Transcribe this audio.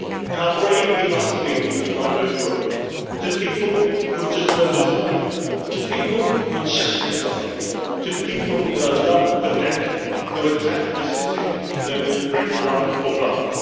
How brave he must have been to write those words to people who had just murdered his wife to people who had shattered his life, to people with a love for death, who attacked a city known for its love of life.